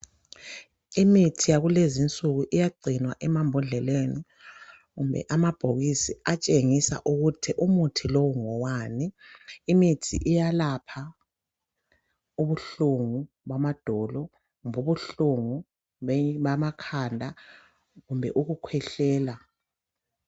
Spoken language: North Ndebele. Imithi yakulezinsuku iyagcinwa emambhodleleni kumbe kumabhokisi atshengisa ukuthi umuthi lowo ngowani. lmithi iyelapha ubuhlungu bamadolo kumbe ubuhlungu bekhanda kumbe ukukhwehlela